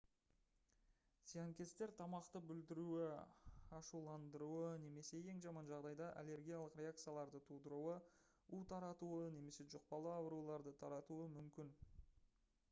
зиянкестер тамақты бүлдіруі ашуландыруы немесе ең жаман жағдайда аллергиялық реакцияларды тудыруы у таратуы немесе жұқпалы ауруларды таратуы мүмкін